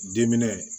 Diminɛ